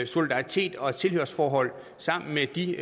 solidaritet og et tilhørsforhold sammen med de